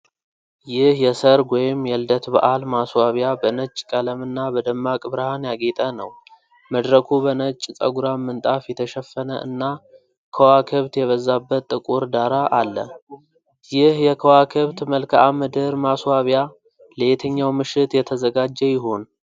ይህ የሰርግ ወይም የልደት በዓል ማስዋቢያ በነጭ ቀለም እና በደማቅ ብርሃን ያጌጠ ነው። መድረኩ በነጭ ጸጉራም ምንጣፍ የተሸፈነ እና ከዋክብት የበዛበት ጥቁር ዳራ አለ። ይህ የከዋክብት መልክዓ ምድር ማስዋቢያ ለየትኛው ምሽት የተዘጋጀ ይሆን?